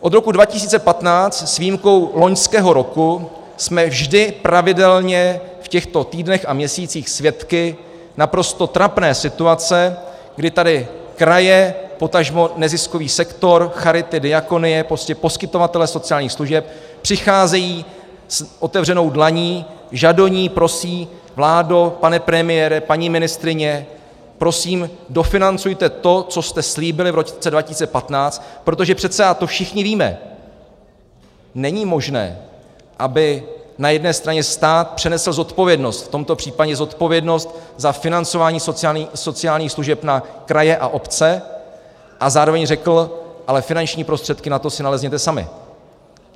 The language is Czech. Od roku 2015 s výjimkou loňského roku jsme vždy pravidelně v těchto týdnech a měsících svědky naprosto trapné situace, kdy tady kraje, potažmo neziskový sektor, charity, diakonie, prostě poskytovatelé sociálních služeb, přicházejí s otevřenou dlaní, žadoní, prosí: Vládo, pane premiére, paní ministryně, prosím dofinancujte to, co jste slíbili v roce 2015, protože přece, a to všichni víme, není možné, aby na jedné straně stát přenesl zodpovědnost, v tomto případě zodpovědnost za financování sociálních služeb, na kraje a obce a zároveň řekl: ale finanční prostředky na to si nalezněte sami.